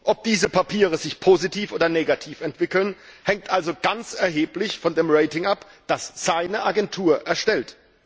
Ob diese Papiere sich positiv oder negativ entwickeln, hängt also ganz erheblich von dem Rating ab, das seine Agentur erstellt.